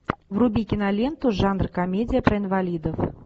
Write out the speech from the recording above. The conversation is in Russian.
вруби киноленту жанр комедия про инвалидов